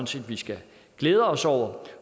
set vi skal glæde os over